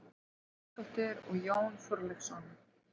Jónsdóttur og Jón Þorleifsson.